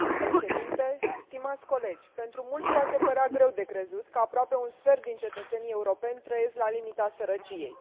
Domnule președinte, stimați colegi, pentru mulți poate părea greu de crezut că aproape un sfert din cetățenii europeni trăiesc la limita sărăciei.